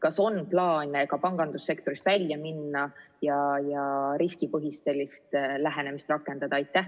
Kas on plaan ka pangandussektorist välja minna ja sealgi sellist riskipõhist lähenemist rakendada?